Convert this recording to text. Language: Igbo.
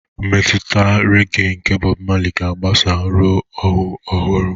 Mmetụta regee nke Bob Marley ga-agbasa ruo ọhụụ ọhụrụ.